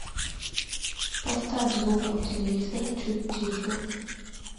поставь звук у телевизора чуть тише